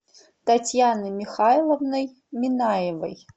татьяной михайловной минаевой